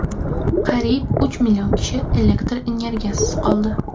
Qariyb uch million kishi elektr energiyasisiz qoldi.